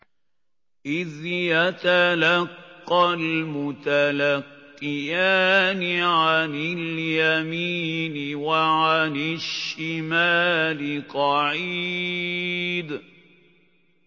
إِذْ يَتَلَقَّى الْمُتَلَقِّيَانِ عَنِ الْيَمِينِ وَعَنِ الشِّمَالِ قَعِيدٌ